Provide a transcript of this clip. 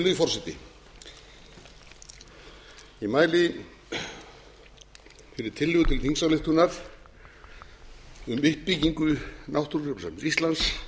virðulegi forseti ég mæli fyrir tillögu til þingsályktunar um uppbyggingu náttúrugripasafns íslands